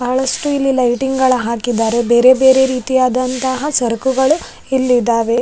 ಬಹಳಷ್ಟು ಇಲ್ಲಿ ಲೈಟಿಂಗ್ ಗಳ ಹಾಕಿದಾರೆ ಬೇರೆ ಬೇರೆ ರೀತಿಯಾದಂತಹ ಸರ್ಕುಗಳು ಇಲ್ಲಿದಾವೆ.